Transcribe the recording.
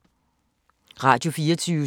Radio24syv